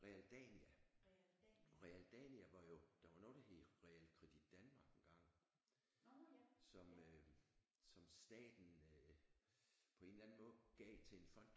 Realdania Realdania var jo der var noget der hed Realkredit Danmark engang som som staten øh på en eller anden måde gav til en fond